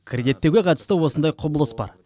кредиттеуге қатысты осындай құбылыс бар